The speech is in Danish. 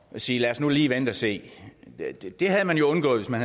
sige lad os nu lige vente og se det havde man jo undgået hvis man